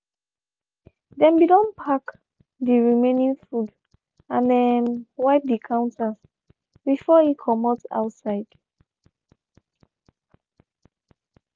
dem be don pack dey remaining food and um wiped dey counters before e comot outside.